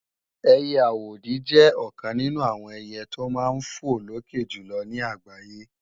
ẹiyẹ àwòdì jẹ́ ọ̀kan nínú àwọn ẹiyẹ tí ó máa ń fò lókè jùlọ ní àgbáyé